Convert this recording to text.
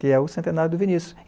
que é o centenário do Vinícius.